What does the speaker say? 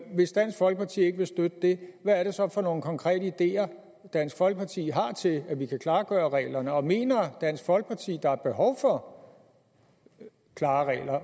hvis dansk folkeparti ikke vil støtte det hvad er det så for nogle konkrete ideer dansk folkeparti har til at vi kan klargøre reglerne og mener dansk folkeparti at der er behov for klare